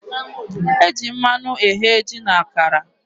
E ji mmanụ eghe ji na akara.